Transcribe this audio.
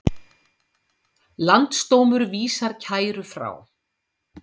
Landsdómur vísar kæru frá